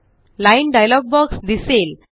line dialogue box दिसेल